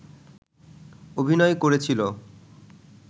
অভিনয় করেছিল